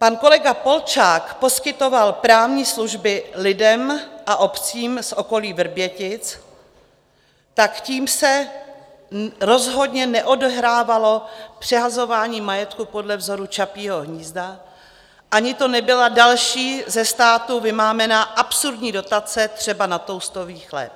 Pan kolega Polčák poskytoval právní služby lidem a obcím z okolí Vrbětic, tak tím se rozhodně neodehrávalo přehazování majetku podle vzoru Čapího hnízda ani to nebyla další ze státu vymámená absurdní dotace třeba na toustový chléb.